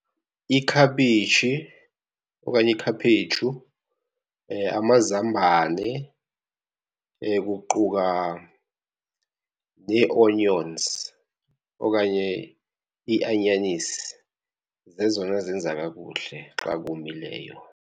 Ikhabishi okanye ikhaphetshu, amazambane, kuquka nee-onions okanye iianyanisi, zezona zenza kakuhle xa komileyo.